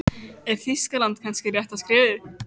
Mamma, sagði hann vælulegur á astralplaninu.